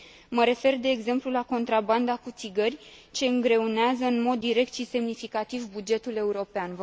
Mă refer, de exemplu, la contrabanda cu țigări, ce îngreunează în mod direct și semnificativ bugetul european.